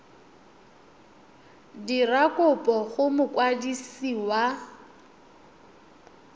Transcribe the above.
dira kopo go mokwadisi wa